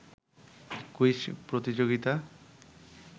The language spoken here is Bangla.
কুইজ প্রতিযোগিতা